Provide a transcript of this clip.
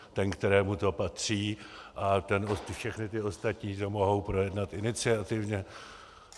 Ten, kterému to patří, a všechny ty ostatní to mohou projednat iniciativně.